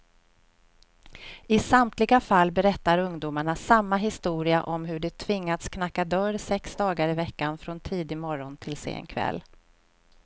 I samtliga fall berättar ungdomarna samma historia om hur de tvingats knacka dörr sex dagar i veckan, från tidig morgon till sen kväll.